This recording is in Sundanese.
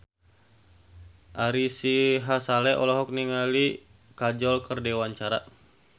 Ari Sihasale olohok ningali Kajol keur diwawancara